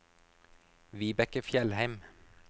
Vibeke Fjellheim